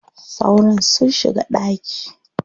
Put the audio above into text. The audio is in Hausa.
Sauron sun shiga ɗaki.